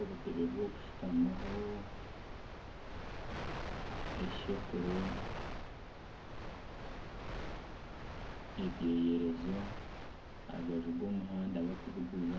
Obutebe by'okushutamo eshekuro, ebyeyerezo aha rubaju rw'omuhanda barikubiguza